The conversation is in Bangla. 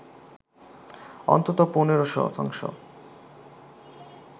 অন্তত ১৫ শতাংশ